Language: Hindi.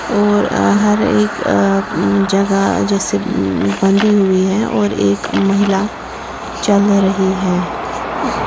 और हर एक अह जगह जैसे बंधी हुई है और एक महिला चल रही है --